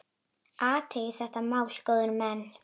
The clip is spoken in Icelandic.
Athugið þetta mál, góðir menn!